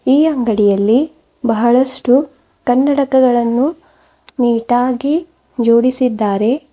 ಈ ಅಂಗಡಿಯಲ್ಲಿ ಬಹಳಷ್ಟು ಕನ್ನಡಕಗಳನ್ನು ನೀಟಾಗಿ ಜೋಡಿಸಿದ್ದಾರೆ.